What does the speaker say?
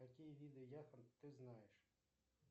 какие виды яхонт ты знаешь